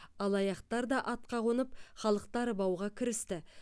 алаяқтар да атқа қонып халықты арбауға кірісті